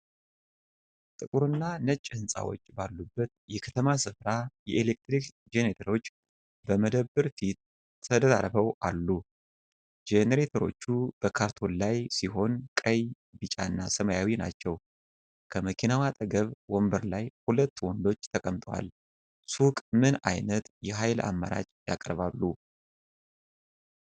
ጥቁር እና ነጭ ህንጻዎች ባሉበት የከተማ ስፍራ የኤሌክትሪክ ጀነሬተሮች በመደብር ፊት ተደራርበው አሉ። ጀነሬተሮቹ በካርቶን ላይ ሲሆን ቀይ፣ ቢጫና ሰማያዊ ናቸው። ከመኪናው አጠገብ ወንበር ላይ ሁለት ወንዶች ተቀምጠዋል። ሱቁ ምን አይነት የኃይል አማራጭ ያቀርባል?